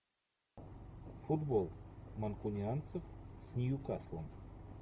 футбол манкунианцев с ньюкаслом